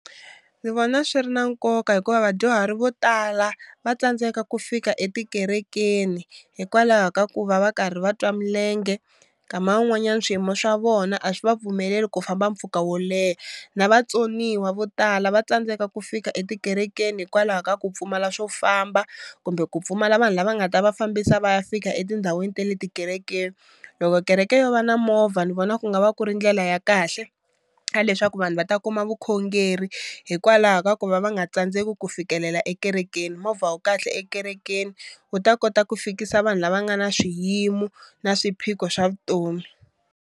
Ndzi vona swi ri na nkoka hikuva vadyuhari vo tala va tsandzeka ku fika etikerekeni hikwalaho ka ku va va karhi va twa milenge, nkama wun'wanyani swiyimo swa vona a swi va pfumeleli ku famba mpfhuka wo leha na vatsoniwa vo tala va tsandzeka ku fika etikerekeni hikwalaho ka ku pfumala swo famba kumbe ku pfumala vanhu lava nga ta va fambisa va ya fika etindhawini ta le tikerekeni. Loko kereke yo va na movha ni vona ku nga va ku ri ndlela ya kahle ka leswaku vanhu va ta kuma vukhongeri hikwalaho ka ku va va nga tsandzeki ku fikelela ekerekeni, movha wu kahle ekerekeni wu ta kota ku fikisa vanhu lava nga na swiyimo na swiphiqo swa vutomi.